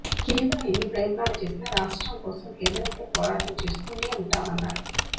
కేంద్రం ఎన్ని ప్రయత్నాలు చేసినా రాష్ట్రం కోసం కేంద్రంతో పోరాటం చేస్తూనే ఉంటామన్నారు